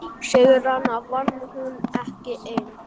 Sigrana vann hún ekki ein.